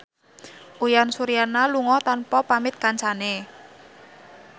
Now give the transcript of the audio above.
Uyan Suryana lunga tanpa pamit kancane